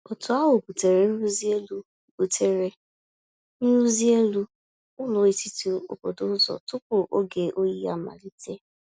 Otu ahụ butere nrụzi elu butere nrụzi elu ụlọ etiti obodo ụzọ tupu oge oyi amalite.